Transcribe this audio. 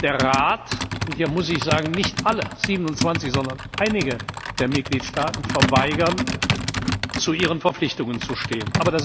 der Rat und hier muss ich sagen nicht alle 27, sondern einige der Mitgliedstaaten verweigern es, zu ihren Verpflichtungen zu stehen.